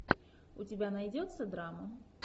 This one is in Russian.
у тебя найдется драма